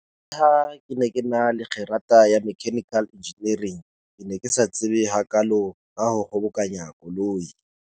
Leha ke na le kgerata ya mechanical engineering, ke ne ke sa tsebe hakaalo ka ho kgobokanya koloi.